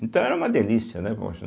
Então era uma delícia, né?